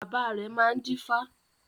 Bàbá rẹ̀ máa ń dífá